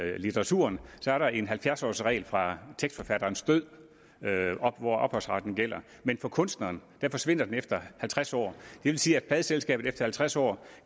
i litteraturen er der en halvfjerds årsregel fra tekstforfatterens død hvor ophavsretten gælder men for kunstneren forsvinder den efter halvtreds år det vil sige at pladeselskabet efter halvtreds år